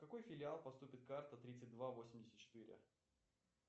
в какой филиал поступит карта тридцать два восемьдесят четыре